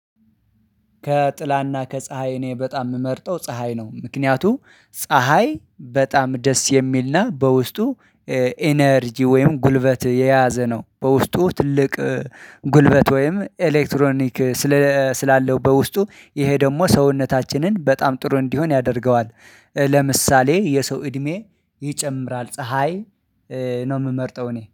ከጥላና ከፀሀይ እኔ በጣም የምመርጠው ፀሀይ ነው። ምክንያቱም ፀሀይ በጣም ደስ የሚልና በውስጡ ኢነርጂ ወይም ጉልበት የያዘ ነው። በውስጡ ትልቅ ጉልበት ወይም ኤሌክትሮኒክ ስላለው በውስጡ ይሄ ደግሞ ሰውነታችንን በጣም ጥሩ እንዲሆን ያደርገዋል። ለምሳሌ የሰው እድሜ ይጨምራል። ፀሀይ ነው የምመርጠው እኔ